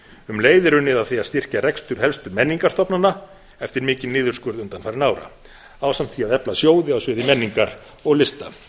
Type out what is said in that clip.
um leið er unnið að því að styrkja rekstur helstu menningarstofnana eftir mikinn niðurskurð undanfarinna ára ásamt því að efla sjóði á sviði menningar og lista